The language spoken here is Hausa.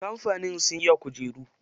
Kamfanin sun iya kujeru.